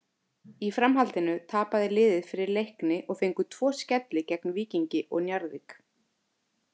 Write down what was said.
Í framhaldinu tapaði liðið fyrir Leikni og fengu tvo skelli gegn Víkingi og Njarðvík.